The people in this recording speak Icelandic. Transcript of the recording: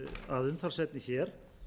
að umtalsefni hér